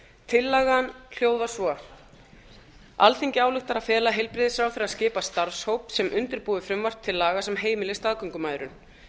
tillagan hljóðar svo alþingi ályktar að fela heilbrigðisráðherra að skipa starfshóp sem undirbúi frumvarp til laga sem heimili staðgöngumæðrun